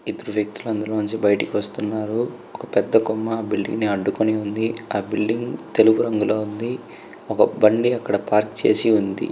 ఇద్దరు వ్యక్తులు అందులో నుంచి బయటకు వస్తూ ఉన్నారు. ఒక పెద్ద కొమ్మ బిల్డింగ్ ని అడ్డుకొని ఉంది . ఆ బిల్డింగ్ తెలుపు రంగులో ఉంది. ఒక బండి అక్కడ పార్కు చేసి ఉంది.